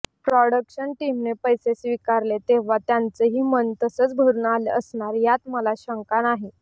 production टीमने पैसे स्वीकारले तेव्हा त्यांचंही मन तसंच भरून आलं असणार यात मला शंका नाही